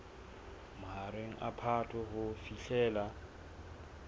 mahareng a phato ho fihlela